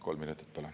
Kolm minutit palun.